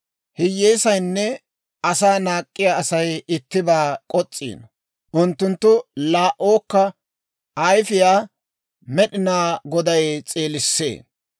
Hiyyeesaynne asaa naak'k'iyaa Asay ittibaa kos's'iino; unttunttu laa"ookka ayifiyaa Med'inaa Goday s'eelissee.